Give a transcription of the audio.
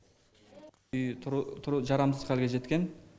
үй жарамсыз халге жеткен